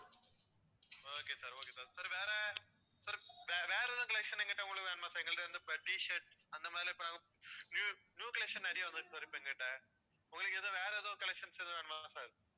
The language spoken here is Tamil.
okay sir okay sir sir வேற sir வேற எதுவும் collections எங்ககிட்ட உங்களுக்கு வேணுமா sir எங்ககிட்ட இப்போ T shirt அந்த மாதிரிலாம் இப்போ new collection நிறைய வந்துருக்கு sir எங்ககிட்ட உங்களுக்கு வேற எதுவும் collections எதுவும் வேணுமா sir